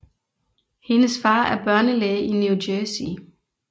Hendes far er børnelæge i New Jersey